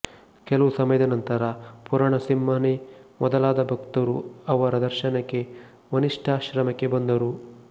ಕೆಲವು ಸಮಯದ ನಂತರ ಪೂರಣಸಿಂಹನೇ ಮೊದಲಾದ ಭಕ್ತರು ಅವರ ದರ್ಶನಕ್ಕೆ ವಸಿಷ್ಠಾಶ್ರಮಕ್ಕೆ ಬಂದರು